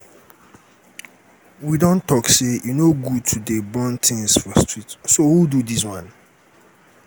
we don talk say e no good to dey burn things for street so who do dis one?